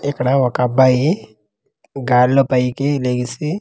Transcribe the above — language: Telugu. ఇక్కడ ఒక అబ్బాయి గాల్లో పైకి లెగిసి--